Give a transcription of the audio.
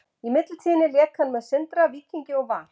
Í millitíðinni lék hann með Sindra, Víkingi og Val.